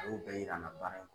a y'o bɛɛ yira na baara in